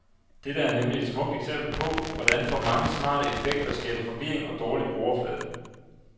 Dette er nemlig et smukt eksempel på, hvordan for mange smarte effekter skaber forvirring og dårlig brugerflade.